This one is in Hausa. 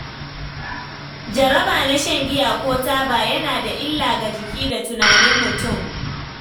Jaraba na shan giya ko taba yana da illa ga jiki da tunanin mutum.